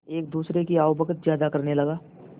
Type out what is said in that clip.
एक दूसरे की आवभगत ज्यादा करने लगा